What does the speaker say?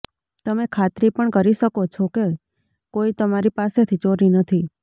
તમે ખાતરી પણ કરી શકો છો કે કોઈ તમારી પાસેથી ચોરી નથી